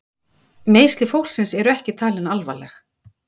Meiðsli fólksins eru ekki talin alvarleg